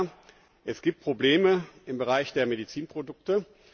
Ja, es gibt Probleme im Bereich der Medizinprodukte.